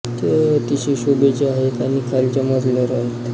ते अतिशय शोभेच्या आहेत आणि खालच्या मजल्यावर आहेत